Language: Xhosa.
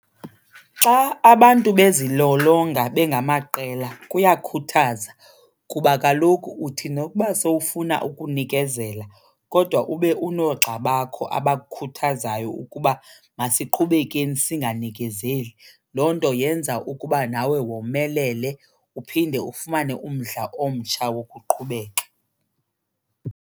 Xa abantu bezilolonga bengamaqela kuyakhuthaza kuba kaloku uthi nokuba sowufuna ukunikezela kodwa ube unoogxa bakho abakukhuthazayo ukuba masiqhubekeni singanikezeli. Loo nto yenza ukuba nawe womelele uphinde ufumane umdla omtsha wokuqhubeka.